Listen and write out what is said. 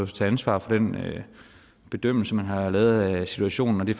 til ansvar for den bedømmelse man har lavet af situationen og det